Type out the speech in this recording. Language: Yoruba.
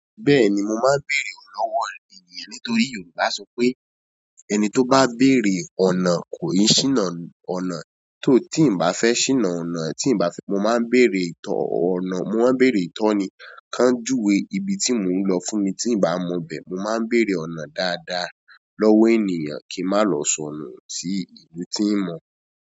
Bẹ́ẹ̀ni mo máa ń bèrè ọ̀nà lọ́wọ́ èeyàn nítorí Yorùbá sọ pé "ẹni tó bá bèrè ọ̀nà kò yín ṣíná ọ̀nà tó." Tí n bá fẹ́ ṣíná ọ̀nà, tí n bá fẹ́, mo máa ń bèrè ìtọ́ ọ̀nà, mo máa ń bèrè ìtọ́ni kan júwe ibi tí mò ń lọ fún mi. Tí n bá mọ bẹ́ẹ̀, mo máa ń bèrè ọ̀nà dáadáa lọ́wọ́ èeyàn kí n má lọ sọnù sí ibi tí n mọ̀.